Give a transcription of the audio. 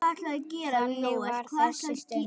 Þannig var þessi stund.